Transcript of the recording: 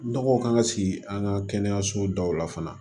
Nɔgɔ kan ka sigi an ka kɛnɛyasobaw la fana